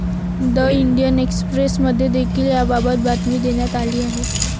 The Indian Express' मध्ये देखील याबाबत बातमी देण्यात आली आहे.